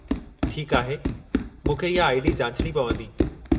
ठीकु आहे, मूंखे इहा आई.डी. जाचणी पवंदी।